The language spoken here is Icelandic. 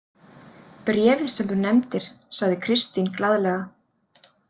Bréfið sem þú nefndir, sagði Kristín glaðlega.